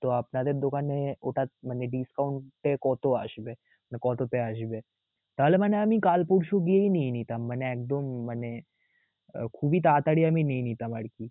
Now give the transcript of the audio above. তো আপনাদের দোকানে ওটা মানে discount এ এর কত আসবে কততে আসবে? তাহলে মানে আমি কাল পরশু গিয়ে নিয়ে নিতাম. মানে একদম মানে খুবিই তাড়াতড়ি আমি নিয়ে নিতাম আরকি.